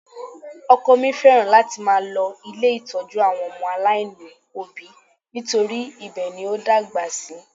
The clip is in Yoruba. Ọkọ mi fẹ́ràn láti máa lọ ilé ìtọ́jú àwọn ọmọ aláìní òbí nítorí ibẹ̀ ni ó dàgbà sí